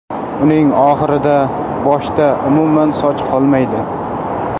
Uning oxirida boshda umuman soch qolmaydi.